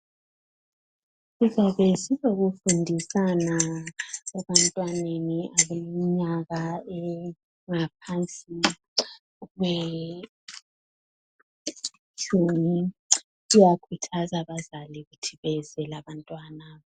Sizabe silokufundisana ebantwaneni abaleminyaka engaphansi kwetshumi, siyakhuthaza abazali ukuthi beze labantwana